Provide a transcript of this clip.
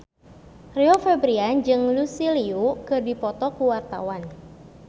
Rio Febrian jeung Lucy Liu keur dipoto ku wartawan